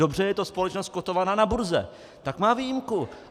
Dobře, je to společnost kotovaná na burze, tak má výjimku.